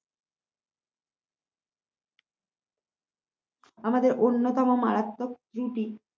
আমাদের অন্যতম মারাত্মক ত্রুটি